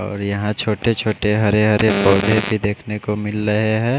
और यहाँ छोटे छोटे हरे हरे पौधे भी देखने को मिल लहे है।